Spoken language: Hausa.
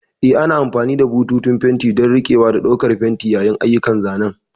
Eh, ana amfani da bututun fenti don riƙewa da ɗaukar fenti yayin ayyukan zanen.